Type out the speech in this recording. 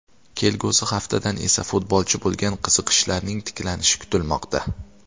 Kelgusi haftadan esa futbolchi bo‘lgan qiziqishlarning tiklanishi kutilmoqda.